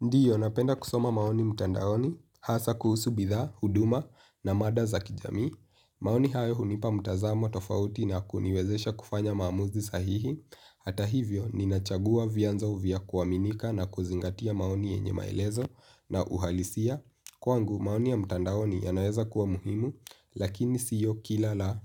Ndiyo, napenda kusoma maoni mtandaoni, hasa kuhusu bidhaa, huduma na mada za kijamii. Maoni hayo hunipa mtazamo tofauti na kuniwezesha kufanya maamuzi sahihi. Hata hivyo ninachagua vyanzo vya kuaminika na kuzingatia maoni yenye maelezo na uhalisia kwangu maoni ya mtandaoni yanaweza kuwa muhimu lakini sio kila la